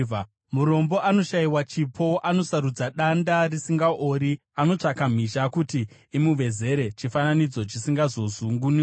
Murombo anoshayiwa chipo anosarudza danda risingaori. Anotsvaka mhizha kuti imuvezere chifananidzo chisingazozungunuki.